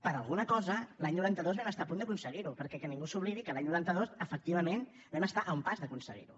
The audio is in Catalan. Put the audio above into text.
per alguna cosa l’any noranta dos vam estar a punt d’aconseguir ho perquè que ningú s’oblidi que l’any noranta dos efectivament vam estar a un pas d’aconseguir ho